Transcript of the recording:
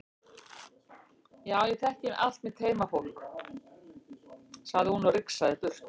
Já ég þekki allt mitt heimafólk, sagði hún og rigsaði burt.